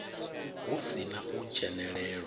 hu si na u dzhenelelwa